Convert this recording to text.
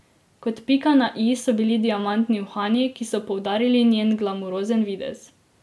Kot pika na i so bili diamantni uhani, ki so poudarili njen glamurozen videz.